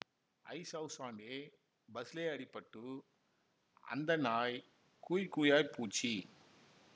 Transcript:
ஐஸவுஸாண்டே பஸ்லே அடிபட்டு அந்த நாய் கூய் கூயாய் பூட்ச்சி